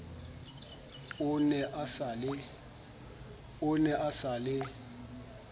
o ne a sa le